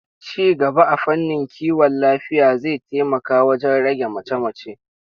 Ci gaba a fannin kiwon lafiya zai taimaka wajen rage mace-mace.